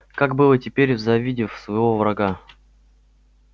гак было и теперь завидев своего врага